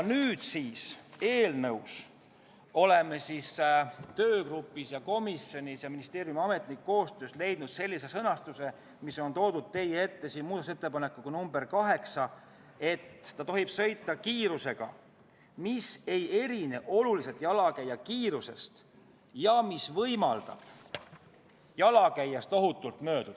Nüüdseks oleme töögrupis ja komisjonis koostöös ministeeriumi ametnikega leidnud sellise sõnastuse, mis on toodud teie ette muudatusettepanekuna nr 8: ta peab sõitma kiirusega, mis ei erine oluliselt jalakäija kiirusest ja mis võimaldab jalakäijast ohutult mööduda.